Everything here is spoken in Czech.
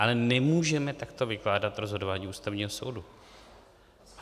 Ale nemůžeme takto vykládat rozhodování Ústavního soudu.